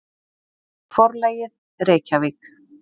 Forlagið: Reykjavík.